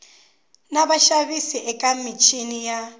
na vaxavis eka michini ya